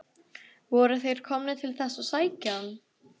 Voru þeir komnir til þess að sækja hann?